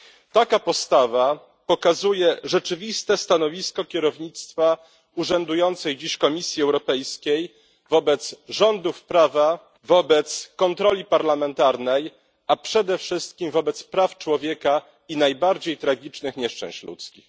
Taka postawa pokazuje rzeczywiste stanowisko kierownictwa urzędującej dziś Komisji Europejskiej wobec rządów prawa, wobec kontroli parlamentarnej, a przede wszystkim wobec praw człowieka i najbardziej tragicznych nieszczęść ludzkich.